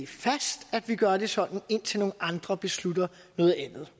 fast at vi gør det sådan indtil nogle andre beslutter noget andet